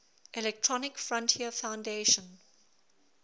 electronic frontier foundation